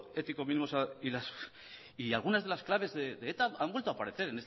ético mínimo y algunas de las claves de eta han vuelto a parecer